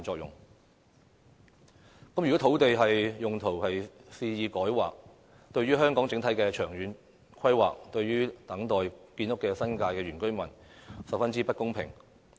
如果肆意改劃土地用途，這對香港整體的長遠規劃及正在等候建屋的新界原居民均十分不公平。